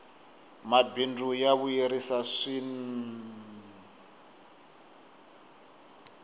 mabindzu ya vuyerisa swinee